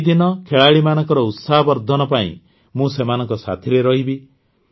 ଏହି ଦିନ ଖେଳାଳିମାନଙ୍କର ଉତ୍ସାହବର୍ଦ୍ଧନ ପାଇଁ ମୁଁ ସେମାନଙ୍କ ସାଥିରେ ରହିବି